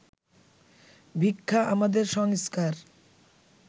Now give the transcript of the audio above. ভিক্ষা আমাদের সংস্কার